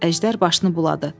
Əjdər başını buladı.